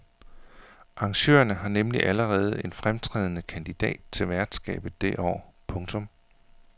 Arrangørerne har nemlig allerede en fremtrædende kandidat til værtskabet det år. punktum